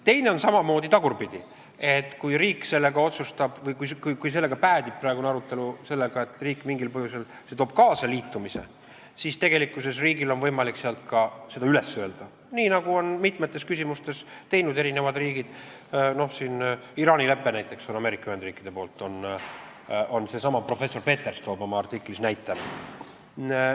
Teine variant on tagurpidine: kui praegune arutelu päädib mingil põhjusel sellega, et see toob kaasa liitumise, siis riigil on võimalik seda üles öelda, nii nagu on mitmes küsimuses teinud mitmed riigid, näiteks Iraani leppest on Ameerika Ühendriigid otsustanud lahkuda, seesama professor Peters tõi oma artiklis selle näite.